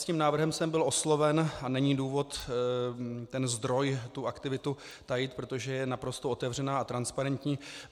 S tím návrhem jsem byl osloven a není důvod ten zdroj, tu aktivitu tajit, protože je naprosto otevřená a transparentní.